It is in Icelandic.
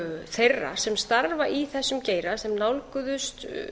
þeirra sem starfa í þessum geira sem nálguðust